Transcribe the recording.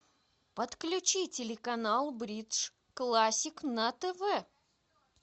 подключи телеканал бридж классик на тв